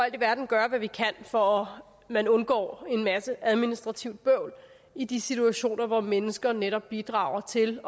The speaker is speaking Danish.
i verden gøre hvad vi kan for at man undgår en masse administrativt bøvl i de situationer hvor mennesker netop bidrager til